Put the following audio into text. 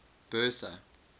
bertha